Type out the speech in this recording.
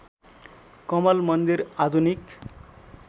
कमल मन्दिर आधुनिक